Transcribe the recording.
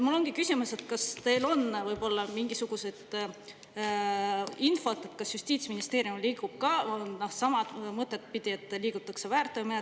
Mul ongi küsimus, kas teil on võib-olla mingisugust infot, kas Justiitsministeerium liigub ka sama mõtet pidi, et liikuda tuleks väärteomenetluse suunas.